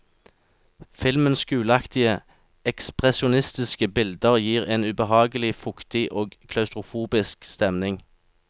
Filmens gulaktige, ekspresjonistiske bilder gir en ubehagelig fuktig og klaustrofobisk stemning.